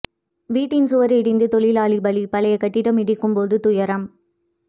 வீட்டின் சுவர் இடிந்து தொழிலாளி பலி பழைய கட்டிடம் இடிக்கும்போது துயரம்